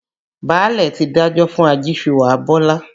Báàlẹ̀ ti dájọ́ fún ajíṣuwà Bọ́lá.